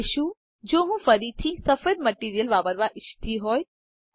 હવે શું જો હું ફરીથી સફેદ મટીરીઅલ વાપરવા ઈચ્છતી હોય